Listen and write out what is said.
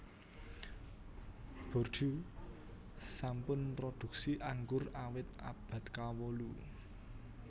Bordeaux sampun mrodhuksi anggur awit abad kawolu